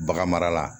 Bagan mara la